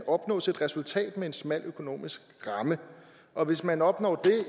opnås et resultat med en smal økonomisk ramme hvis man opnår